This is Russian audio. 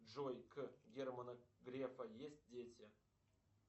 джой к германа грефа есть дети